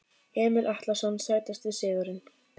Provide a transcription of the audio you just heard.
Emil Atlason Sætasti sigurinn?